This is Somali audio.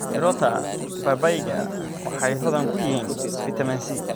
Mirota babayga waxay hodan ku yihiin fitamiin C.